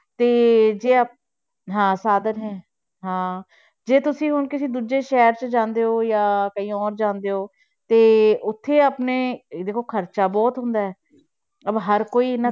ਤੇ ਜੇ ਹਾਂ ਸਾਧਨ ਹੈ, ਹਾਂ ਜੇ ਤੁਸੀਂ ਹੁਣ ਕਿਸੇ ਦੂਜੇ ਸ਼ਹਿਰ 'ਚ ਜਾਂਦੇ ਹੋ ਜਾਂ ਕਹੀਂ ਔਰ ਜਾਂਦੇ ਹੋ, ਤੇ ਉੱਥੇ ਆਪਣੇ ਦੇਖੋ ਖ਼ਰਚਾ ਬਹੁਤ ਹੁੰਦਾ ਹੈ ਅਹ ਹਰ ਕੋਈ ਇੰਨਾ,